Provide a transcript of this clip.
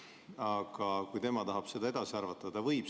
Aga kui tema tahab seda edasi arvata, siis ta võib.